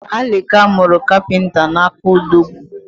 Alika muru kapinta n’aka Odogwu